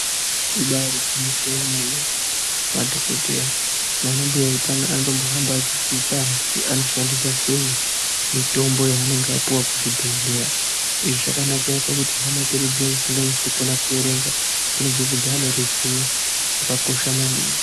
Ibari gwinyiso yemene madhokodheya nanambuya utano anombohambe Achidzidzisa antu kuti anoshandisa sei mitombo yavanenga vapiwa kuzvibhedhleya izvi zvakanakaira pakutihama dzedu dziyani dzisikanyasi kukona kuerenga dzinobvepo dzaane ruziwo rwakakosha maningi.